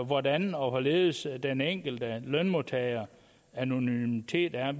hvordan og hvorledes den enkelte lønmodtagers anonymitet er